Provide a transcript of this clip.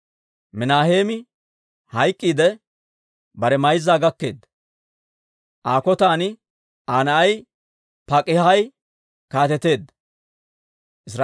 Minaaheemi hayk'k'iidde, bare mayzzan gaketeedda; Aa kotan Aa na'ay Pak'aahi kaateteedda.